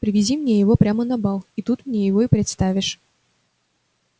привези мне его прямо на бал и тут мне его и представишь